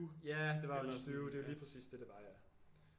Ja det var jo en stew det var lige præcis det det var ja